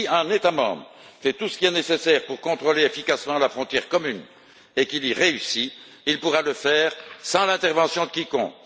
Si un État membre fait tout ce qui est nécessaire pour contrôler efficacement la frontière commune et qu'il y réussit, il pourra le faire sans l'intervention de quiconque.